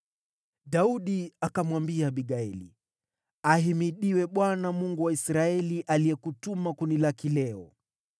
Daudi akamwambia Abigaili, “Ahimidiwe Bwana , Mungu wa Israeli aliyekutuma kunilaki leo.